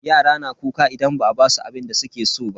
Yara na kuka idan ba a basu abinda suke so ba.